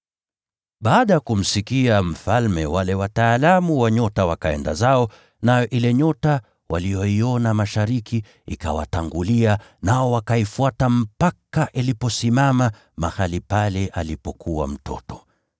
Baada ya kumsikia mfalme, wale wataalamu wa nyota wakaenda zao, nayo ile nyota waliyoiona mashariki ikawatangulia, nao wakaifuata mpaka iliposimama mahali pale alipokuwa mtoto.